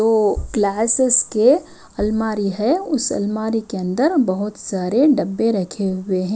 वो क्लासेस के अलमारी है उस अलमारी के अंदर बहोत सारे डब्बे रखे हुए है।